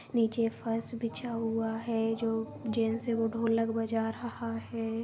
नीचे फर्श बिछा हुआ है। जो जेन्ट्स है वो ढोलक बजा रहा है।